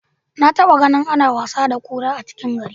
Na taba ganin ana wasa da kura a cikin gari.